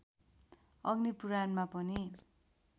अग्नि पुराणमा पनि